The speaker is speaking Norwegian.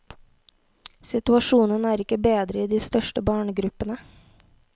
Situasjonen er ikke bedre i de største barnegruppene.